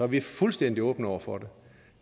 vi fuldstændig åbne over for det